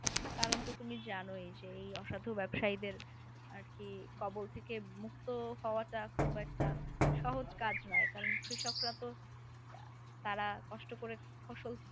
কারণ তো তুমি জানোই যে এই অসাধু ব্যবসায়ীদের আর কি কবল থেকে মুক্ত হওয়াটা খুব একটা সহজ কাজ নয় কারণ কৃষকরা তো তারা কষ্ট করে ফসল